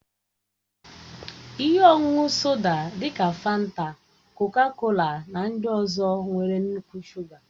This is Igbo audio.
Ihe ọṅụṅụ soda dị ka fanta, kọka-kola na ndị ọzọ nwere nnukwu shuga.